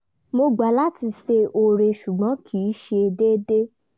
mo gbà láti ṣe oore ṣùgbọ́n kì í ṣe déédéé